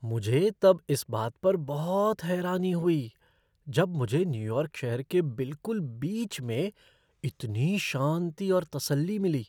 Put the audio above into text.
मुझे तब इस बात पर बहुत हैरानी हुई जब मुझे न्यूयॉर्क शहर के बिलकुल बीच में इतनी शांति और तसल्ली मिली।